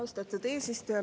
Austatud eesistuja!